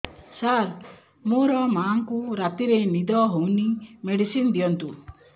ସାର ମୋର ମାଆଙ୍କୁ ରାତିରେ ନିଦ ହଉନି ମେଡିସିନ ଦିଅନ୍ତୁ